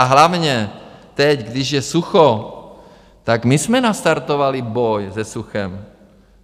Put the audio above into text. A hlavně teď, když je sucho, tak my jsme nastartovali boj se suchem.